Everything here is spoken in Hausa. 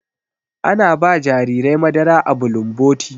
Ana ba jarirai madara a bulumboti.